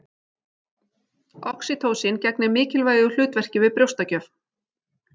Oxýtósín gegnir mikilvægu hlutverki við brjóstagjöf.